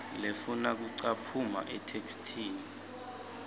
lefuna kucaphuna etheksthini